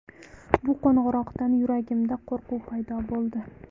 Bu qo‘ng‘iroqdan yuragimda qo‘rquv paydo bo‘ldi.